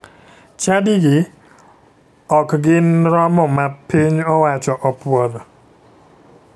Chadigi ok gin romo ma piny owacho opuodho